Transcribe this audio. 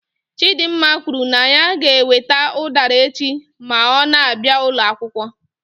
Chidimma kwuru na ya ga-ewete udara echi ma ọ na-abịa ụlọ akwụkwọ.